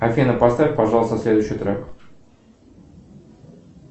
афина поставь пожалуйста следующий трек